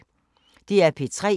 DR P3